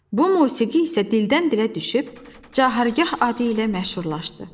Bu musiqi isə dildən-dilə düşüb, Cahargah adı ilə məşhurlaşdı.